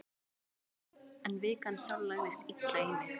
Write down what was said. En vikan sjálf lagðist illa í mig.